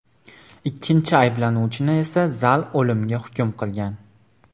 Ikkinchi ayblanuvchini esa zal o‘limga hukm qilgan.